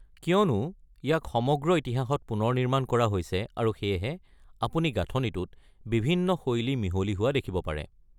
কিয়নো, ইয়াক সমগ্ৰ ইতিহাসত পুনৰ নিৰ্মাণ কৰা হৈছে, আৰু সেয়েহে, আপুনি গাঁথনিটোত বিভিন্ন শৈলী মিহলি হোৱা দেখিব পাৰে।